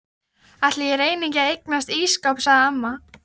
Ætli ég reyni ekki að eignast ísskáp sagði amma.